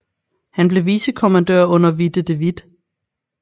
Han blev vicekommandør under Witte de With